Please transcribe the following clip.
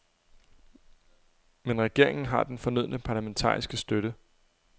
Men regeringen har den fornødne parlamentariske støtte.